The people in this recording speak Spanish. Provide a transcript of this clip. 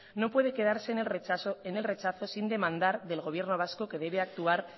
no puede quedarse en el rechazo sin demandar del gobierno vasco que debe actuar